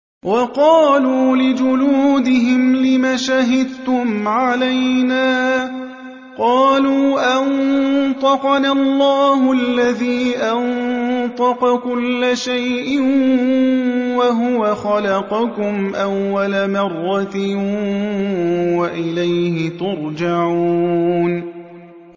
وَقَالُوا لِجُلُودِهِمْ لِمَ شَهِدتُّمْ عَلَيْنَا ۖ قَالُوا أَنطَقَنَا اللَّهُ الَّذِي أَنطَقَ كُلَّ شَيْءٍ وَهُوَ خَلَقَكُمْ أَوَّلَ مَرَّةٍ وَإِلَيْهِ تُرْجَعُونَ